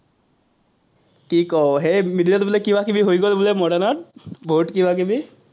কি ক, সেই বোলে কিবা-কিবি হৈ গ'ল বোলে modern ত, বহুত কিবা-কিবি।